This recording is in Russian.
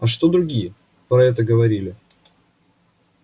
а что другие про это говорили